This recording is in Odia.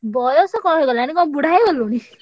ବୟସ କଣ ହେଇଗଲାଣି, କଣ ବୁଢା ହେଇଗଲୁଣି?